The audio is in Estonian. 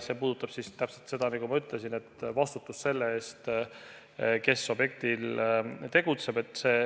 See puudutab täpselt seda, nagu ma ütlesin, vastutust selle eest, kes objektil tegutseb.